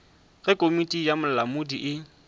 ge komiti ya bolamodi e